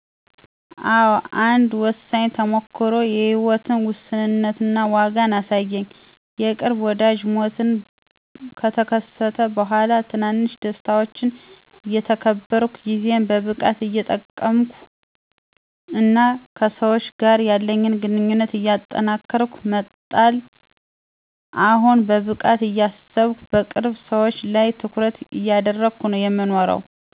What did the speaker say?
አዎ፣ አንድ ወሳኝ ተሞክሮ የህይወትን ውሱንነት እና ዋጋ አሳየኝ። የቅርብ ወዳጅ ሞት ከተከሰተ በኋላ፣ ትናንሽ ደስታዎችን እየተከበርኩ፣ ጊዜን በብቃት እየጠቀምኩ፣ እና ከሰዎች ጋር ያለኝ ግንኙነት እየጠነከርኩ መጣል። አሁን በብቃት እያሰብኩና በቅርብ ሰዎቼ ላይ ትኩረት እያደረግኩ ነው የምኖረው።